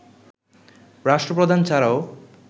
রাষ্ট্রপ্রধান ছাড়াও